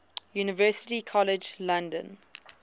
university college london